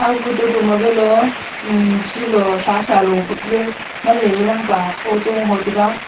wu to magalo chilo shachalo papley nganley chanpa photo ho taga.